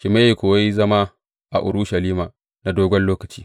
Shimeyi kuwa ya yi zama a Urushalima na dogon lokaci.